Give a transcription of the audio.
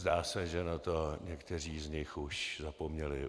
Zdá se, že na to někteří z nich už zapomněli.